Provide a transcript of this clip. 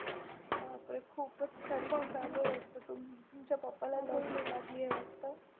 बापरे खूपच खर्च चालू आहे वाटतं तुमच्या पप्पाला Lotery लागली आहे वाटतं.